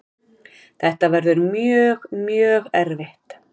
Þetta verður mjög, mjög erfitt.